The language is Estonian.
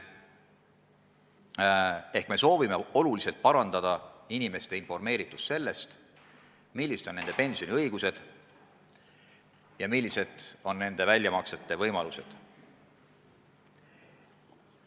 Nimelt, me soovime kõvasti parandada inimeste informeeritust sellest, millised on nende pensioniga seotud õigused, näiteks millised on pensioni väljamaksmise võimalused.